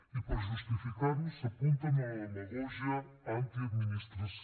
i per justificar ho s’apunten a la demagògia antiadministració